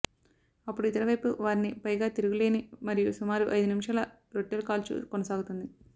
అప్పుడు ఇతర వైపు వారిని పైగా తిరుగులేని మరియు సుమారు ఐదు నిమిషాలు రొట్టెలుకాల్చు కొనసాగుతుంది